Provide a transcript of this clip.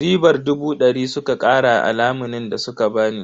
Ribar dubu dari suka kara a lamunin da suka bani.